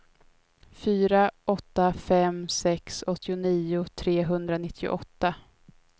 fyra åtta fem sex åttionio trehundranittioåtta